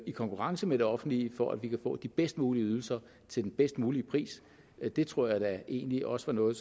i konkurrence med det offentlige for at vi kan få de bedst mulige ydelser til den bedst mulige pris det tror egentlig også er noget